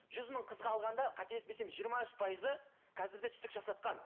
жүз мың қызға алғанда қателеспесем жиырма үш пайызы қазір де түсік жасатқан